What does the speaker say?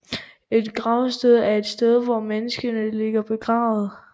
Et gravsted er et sted hvor et menneske ligger begravet